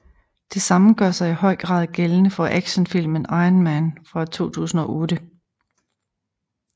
Det samme gør sig i høj grad gældende for actionfilmen Iron Man fra 2008